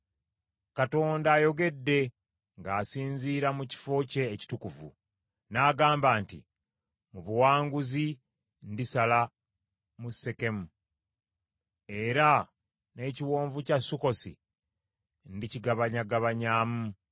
Katonda ayogedde ng’asinziira mu kifo kye ekitukuvu, n’agamba nti, “Mu buwanguzi, ndisala mu Sekemu, era n’ekiwonvu kya Sukkosi ndikigabanyagabanyaamu.